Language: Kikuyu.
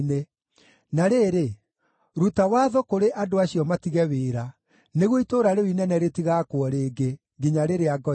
Na rĩrĩ, ruta watho kũrĩ andũ acio matige wĩra, nĩguo itũũra rĩu inene rĩtigaakwo rĩngĩ, nginya rĩrĩa ngoiga.